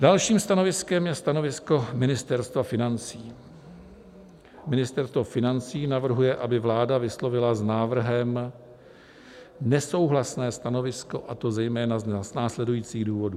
Dalším stanoviskem je stanovisko Ministerstva financí: "Ministerstvo financí navrhuje, aby vláda vyslovila s návrhem nesouhlasné stanovisko, a to zejména z následujících důvodů.